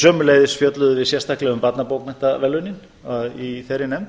sömuleiðis fjölluðum við sérstaklega um barnabókmenntaverðlaunin í þeirri nefnd